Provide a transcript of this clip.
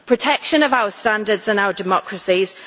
protection of our standards and our democracies